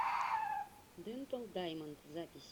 дентал даймонд запись